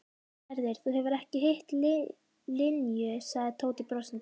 Gerður, þú hefur ekki hitt Linju sagði Tóti brosandi.